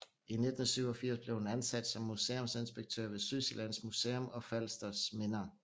I 1987 blev hun ansat som museumsinspektør ved Sydsjællands Museum og Falsters Minder